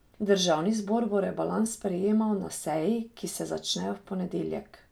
Državni zbor bo rebalans sprejemal na seji, ki se začne v ponedeljek.